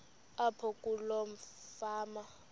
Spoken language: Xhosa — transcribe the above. apho kuloo fama